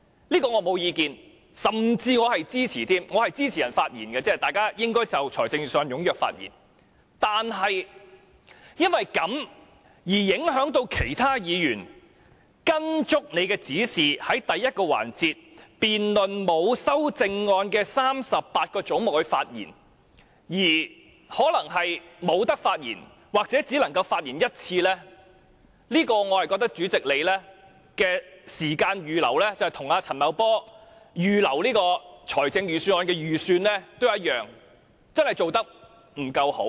我對此並無意見，我甚至表示支持，我支持議員就預算案踴躍發言，但如果因此而影響其他議員，令他們在按照你的指示，在第一個環節就沒有修正案的38個總目的辯論中發言時，可能不能發言或只能發言1次，就這一點來說，我認為主席在時間的預留上，與陳茂波在預算案中所做的預算一樣，真的做得不夠好。